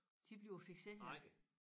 De bliver fikserede